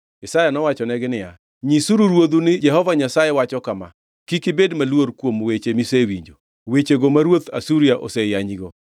Isaya nowachonegi niya, “Nyisuru ruodhu ni, ‘Jehova Nyasaye wacho kama: Kik ibed maluor kuom weche misewinjo, wechego ma ruodh Asuria oseyanyago.